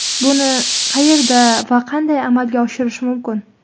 Buni qayerda va qanday amalga oshirish mumkin?